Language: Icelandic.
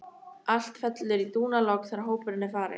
Allt fellur í dúnalogn þegar hópurinn er farinn.